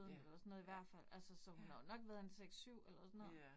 Ja, ja, ja. Ja